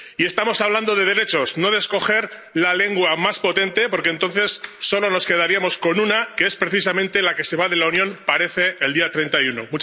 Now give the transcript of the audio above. y estamos hablando de derechos, no de escoger la lengua más potente, porque entonces, solo nos quedaríamos con una, que es precisamente, la que se va de la Unión —parece— el día treinta y uno.